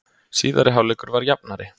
Síðari hálfleikur var jafnari